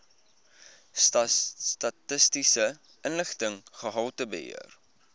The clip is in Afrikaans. statistiese inligting gehaltebeheer